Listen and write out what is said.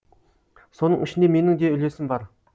соның ішінде менің де үлесім бар